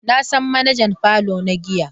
Na san manajan parlour na giya.